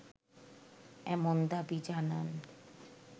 এমন দাবি জানান